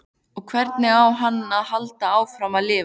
Og hvernig á hann að halda áfram að lifa?